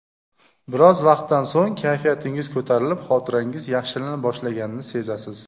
Biroz vaqtdan so‘ng, kayfiyatingiz ko‘tarilib, xotirangiz yaxshilana boshlaganini sezasiz.